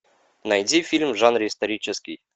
найди фильм в жанре исторический